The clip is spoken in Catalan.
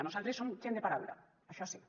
nosaltres som gent de paraula això sí